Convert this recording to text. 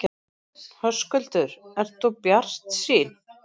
Höskuldur: Ert þú bjartsýn?